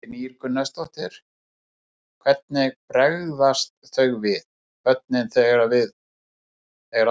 Kristín Ýr Gunnarsdóttir: Hvernig bregðast þau við, börnin, þegar